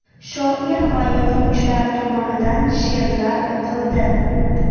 Shoir va yozuvchilar tomonidan she’rlar o‘qildi.